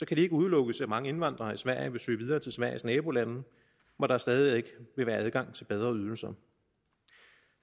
kan det ikke udelukkes at mange indvandrere i sverige vil søge videre til sveriges nabolande hvor der stadig væk vil være adgang til bedre ydelser